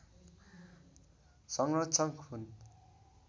संरक्षक हुन्